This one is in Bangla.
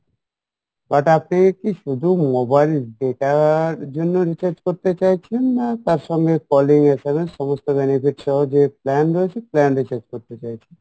but আপনি কী শুধু mobile data এর জন্য recharge করতে চাইছেন না তার সঙ্গে calling SMS সমস্ত benefit সহ যে plan রয়েছে plan recharge করতে চাইছেন?